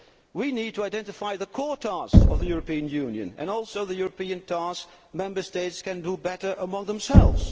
We need to identify the core tasks of the European Union and also the European tasks Member States can do better amongst themselves.